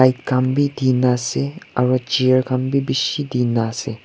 Light khan bhi dhina ase aro chair khan bhi beeshi dhina ase.